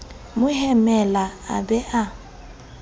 mo hemela a ba a